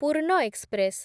Purna express